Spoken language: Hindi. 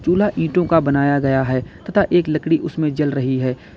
चूल्हा ईटों का बनाया गया है तथा एक लकड़ी उसमें जल रही है।